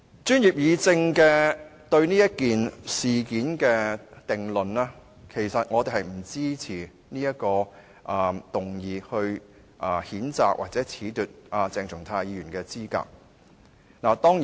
專業議政對這件事的定論是，其實我們不支持動議譴責鄭松泰議員或褫奪他的議員資格。